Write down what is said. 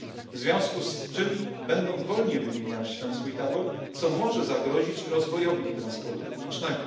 W związku z czym będą wolniej wymieniać ten swój tabor, co może zagrozić rozwojowi transportu publicznego.